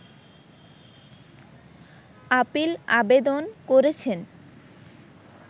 appeal আবেদন করেছেন